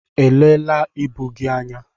Elee la ịbụ gị anya?